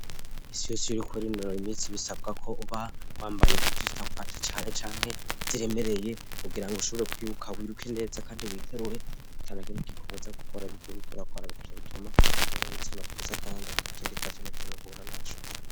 Imisi yose iyuriko urinonor iminsi bisabwa ko uba wambaye mubyu zitagufata cyane cyane ziremereye kugira ngo ushobore kwibuka wiruke neza kandi witerure atanakemuk ikobuza gukora 'intigiko rakwararwaje bituma bbabutse imabyiza kandi atakindikazunakimuhura naco